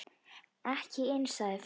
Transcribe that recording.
Ekki inni, sagði Finnur.